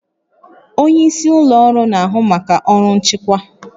Onye isi ụlọ ọrụ na-ahụ maka ọrụ nchịkwa